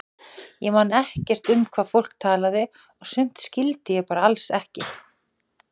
Ég man ekkert um hvað fólk talaði og sumt skildi ég alls ekki.